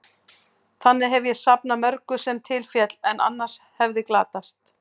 Þangað hef ég safnað mörgu, sem til féll, en annars hefði glatast.